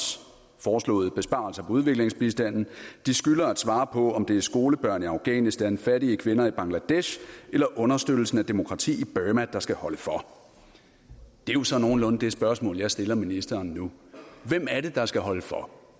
foreslåede besparelser på udviklingsbistanden de skylder at svare på om det er skolebørn i afghanistan fattige kvinder i bangladesh eller understøttelsen af demokrati i burma der skal holde for det er jo så nogenlunde det spørgsmål jeg stiller ministeren nu hvem er det der skal holde for